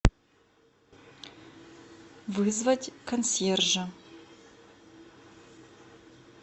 вызвать консьержа